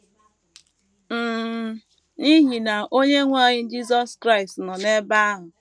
um N’ihi na Onyenwe anyị Jisọs Kraịst nọ n’ebe ahụ.